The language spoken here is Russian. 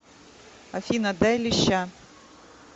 афина дай леща